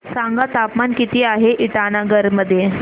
सांगा तापमान किती आहे इटानगर मध्ये